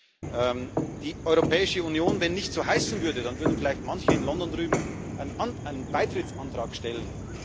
Wenn die Europäische Union nicht so heißen würde, dann würden vielleicht manche in London drüben einen Beitrittsantrag stellen.